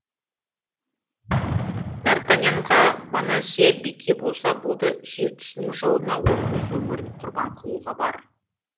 д артаньянға бонасье бике болса болды сүйіктісінің жолына ол өз өмірін құрбан қылуға бар